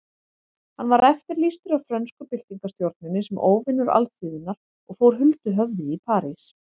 Hann var eftirlýstur af frönsku byltingarstjórninni sem óvinur alþýðunnar og fór huldu höfði í París.